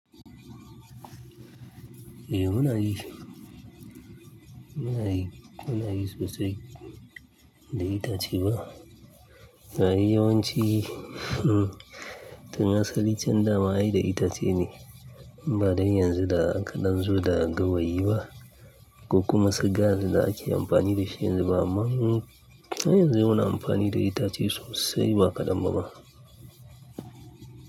Eh muna yi, muna yi, muna yi sosai da itace ba. Na yi yawanci tun asali can dama ai da itace ne ba dan yanzu da aƙadan zo da gawayi ba ko kuma su gas da ake amfani da shi yanzu ba amma mu, har yanzu muna amfani da itace sosai ba ƙadam ba ba.